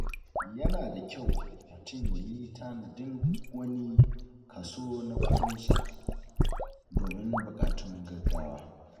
Yana da kyau mutum ya yi tanadin wani kaso na kuɗinsa domin buƙatun gaugawa.